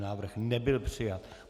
Návrh nebyl přijat.